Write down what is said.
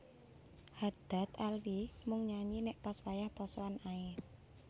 Haddad Alwi mung nyanyi nek pas wayah posoan ae